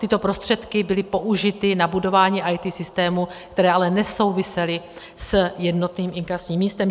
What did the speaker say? Tyto prostředky byly použity na budování IT systémů, které ale nesouvisely s jednotným inkasním místem.